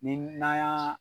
Ni n'an y'a